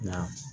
Nka